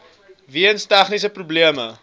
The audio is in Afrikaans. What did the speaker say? weens tegniese probleme